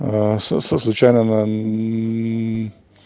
а со со случайным он